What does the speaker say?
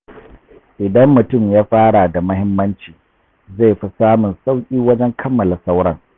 Idan mutum ya fara da muhimmanci, zai fi samun sauƙi wajen kammala sauran.